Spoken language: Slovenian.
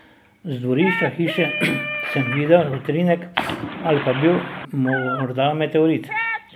Z dvorišča hiše sem videl utrinek, ali pa je bil morda meteorit.